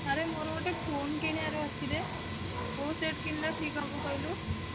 ଆରେ ମୋର ଗୋଟେ phone କିଣିବାର ଅଛି ରେ କୋଉ ସେଟ କିଣିଲେ ଠିକ୍ ହବ କହିଲୁ?